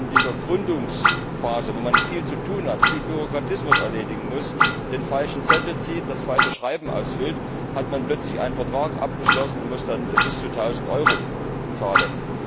Wenn man dann in dieser Gründungsphase, in der man viel zu tun hat, viel Bürokratisches erledigen muss, den falschen Zettel zieht, das falsche Formular ausfüllt, hat man plötzlich einen Vertrag abgeschlossen und muss bis zu tausend Euro zahlen.